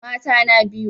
Mata na biyu?